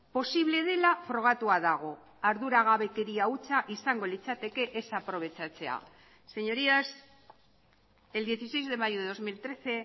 posible dela frogatua dago arduragabekeria hutsa izango litzateke ez aprobetxatzea señorías el dieciséis de mayo de dos mil trece